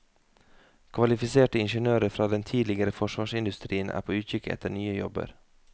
Kvalifiserte ingeniører fra den tidligere forsvarsindustrien er på utkikk etter nye jobber.